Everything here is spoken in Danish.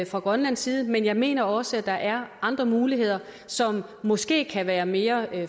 fra grønlands side men jeg mener også at der er andre muligheder som måske kan pege mere